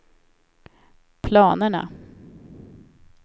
planerna